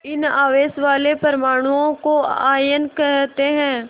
इन आवेश वाले परमाणुओं को आयन कहते हैं